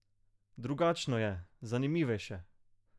Drugačno je, zanimivejše!